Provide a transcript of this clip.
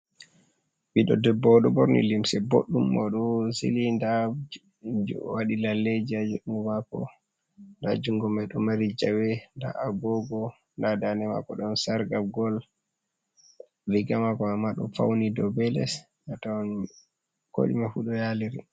Ɓiɗdo debbo oɗo borni limse boɗɗum mo do sili nda mo waɗi lalleji ha jungo mako, nda jungo mai ɗo mari jawe nda agogo nda dande mako ɗon sarga gol riga mako mai ma ɗo fauni dou be les atawan koɗume fu ɗo yaliri.